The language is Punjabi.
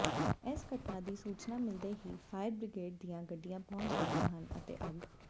ਇਸ ਘਟਨਾ ਦੀ ਸੂਚਨਾ ਮਿਲਦੇ ਹੀ ਫਾਇਰ ਬ੍ਰਿਗੇਡ ਦੀਆਂ ਗੱਡੀਆਂ ਪਹੁੰਚ ਗਈਆਂ ਹਨ ਅਤੇ ਅੱਗ